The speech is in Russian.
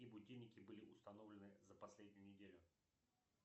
какие будильники были установленны за последнюю неделю